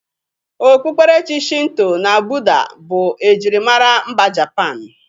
Okpukperechi Shinto na Bụda bụ ejirimara mba Japan.